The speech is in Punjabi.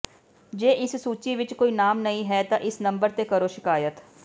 ਜੇ ਇਸ ਸੂਚੀ ਵਿਚ ਕੋਈ ਨਾਮ ਨਹੀਂ ਹੈ ਤਾਂ ਇਸ ਨੰਬਰ ਤੇ ਕਰੋ ਸ਼ਿਕਾਇਤ